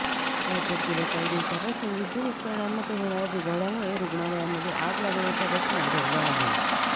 राज्यात गेल्या काही दिवसांपासून विद्युत उपकरणांमध्ये होणाऱ्या बिघाडामुळे रुग्णालयामध्ये आग लागण्याच्या घटना घडल्या आहे